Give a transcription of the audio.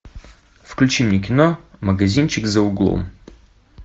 включи мне кино магазинчик за углом